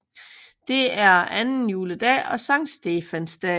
Det er anden juledag og Sankt Stefans dag